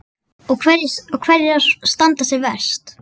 Og hverjar standa sig verst?